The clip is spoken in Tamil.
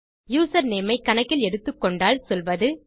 யூசர்நேம் ஐ கணக்கில் எடுத்துக்கொண்டால் சொல்வது